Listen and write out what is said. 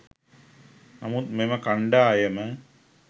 නමුත් මෙම කණ්ඩායම